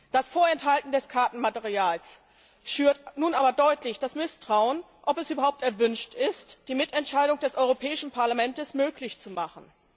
Das Vorenthalten des Kartenmaterials schürt nun aber deutlich das Misstrauen, ob es überhaupt erwünscht ist, die Mitentscheidung des Europäischen Parlaments möglich zu machen.